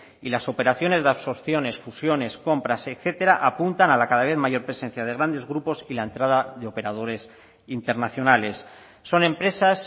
y las operaciones de absorciones fusiones compras etcétera apuntan a la cada vez mayor presencia de grandes grupos y la entrada de operadores internacionales son empresas